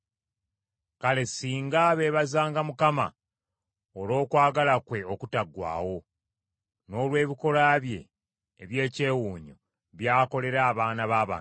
Kale singa beebazanga Mukama olw’okwagala kwe okutaggwaawo, n’olw’ebikolwa bye eby’ekyewuunyo by’akolera abaana b’abantu!